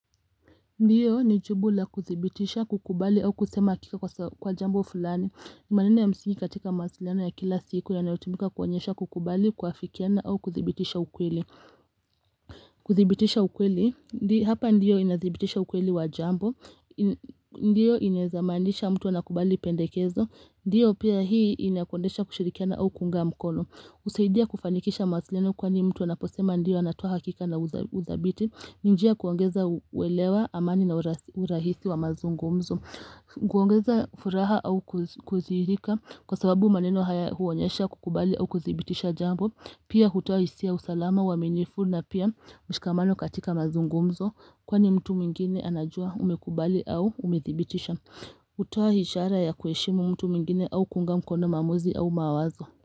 Ndio, ni jibu la kudhibitisha, kukubali au kusema hakika kwa jambo fulani. Ni maneno ya msingi katika mawasiliano ya kila siku yanayotumika kuonyesha kukubali, kuafikiana au kudhibitisha ukweli. Kudhibitisha ukweli, hapa ndio inadhibitisha ukweli wa jambo. Ndio inaweza maanisha mtu anakubali pendekezo. Ndio pia hii inakuonyesha kushirikiana au kuunga mkono. Husaidia kufanikisha mawasiliano kwani mtu anaposema ndio anatoa hakika na udhabiti. Ni njia kuongeza uwelewa amani na urahisi wa mazungumzo. Kuongeza furaha au kudhihirika kwa sababu maneno haya huonyesha kukubali au kudhibitisha jambo. Pia hutoa hisia ya usalama uaminifu na pia mshikamano katika mazungumzo. Kwani mtu mwingine anajua umekubali au umedhibitisha. Hutoa ishara ya kuheshimu mtu mwingine au kuunga mkono maamuzi au mawazo.